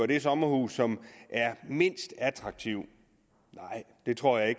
de sommerhuse som er mindst attraktive nej det tror jeg